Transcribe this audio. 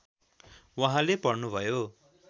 उहाँले पढ्नुभयो